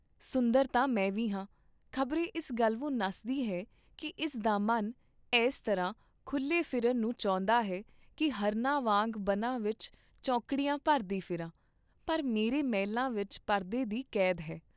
ਸੁੰਦਰ ਤਾਂ ਮੈਂ ਵੀ ਹਾਂ, ਖ਼ਬਰੇ ਇਸ ਗਲਵੋਂ ਨੱਸਦੀ ਹੈ ਕੀ ਇਸ ਦਾ ਮਨ ਐੱਸ ਤਰ੍ਹਾਂ ਖੁਲੇ ਫਿਰਨ ਨੂੰ ਚਾਹੁੰਦਾ ਹੈ ਕੀ ਹਰਨਾਂ ਵਾਂਗ ਬਨਾਂ ਵਿਚ ਚੌਂਕੜੀਆਂ ਭਰਦੀ ਫਿਰਾਂ, ਪਰ ਮੇਰੇ ਮਹਿਲਾਂ ਵਿਚ ਪਰਦੇ ਦੀ ਕੈਦ ਹੈ।